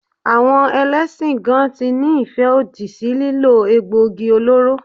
Àwọn Ẹlẹ́sìn gan tí ní ìfẹ́ òdì sí lílo egbò igi olóró.